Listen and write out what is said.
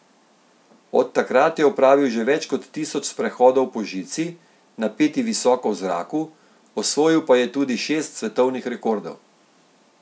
Od takrat je opravil že več kot tisoč sprehodov po žici, napeti visoko v zraku, osvojil pa je tudi šest svetovnih rekordov.